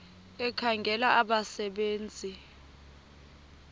ekhangela abasebe nzi